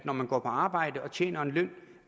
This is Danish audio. når man går på arbejde og tjener en løn